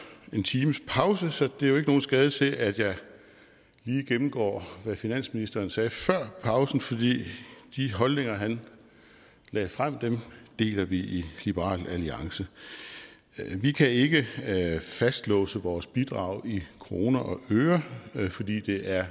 en times pause så det er ikke nogen skade til at jeg lige gennemgår hvad finansministeren sagde før pausen for de holdninger han lagde frem deler vi i liberal alliance vi kan ikke fastlåse vores bidrag i kroner og øre fordi det er